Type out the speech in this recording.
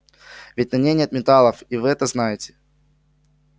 ведь на ней нет металлов и вы это знаете